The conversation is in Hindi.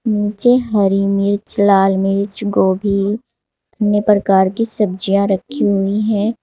नीचे हरी मिर्च लाल मिर्च गोभी अन्य प्रकार की सब्जियां रखी हुई हैं।